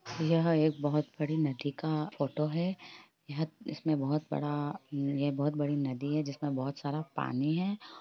यह एक बहुत बड़ी नदी का फोटो हैं यह इसमें बहुत बड़ा ये बहुत बड़ी नदी हैं जिसमे बहुत सारा पानी हैं।